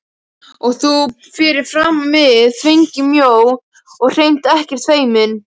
Og þú fyrir framan mig þvengmjó og hreint ekkert feimin.